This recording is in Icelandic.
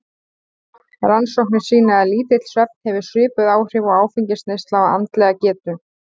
Rannsóknir sýna að lítill svefn hefur svipuð áhrif og áfengisneysla á andlega getu.